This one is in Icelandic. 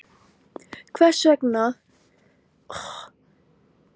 Hvers vegna hann hefði boðað komu sína upp úr þurru.